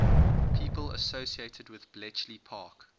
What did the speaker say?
people associated with bletchley park